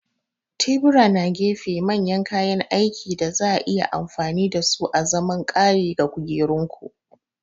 Tebura na gefe manyan kayan aikin da za a iya amfani da su azaman ƙari ga kukerunku.